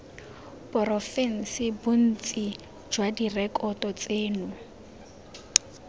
porofense bontsi jwa direkoto tseno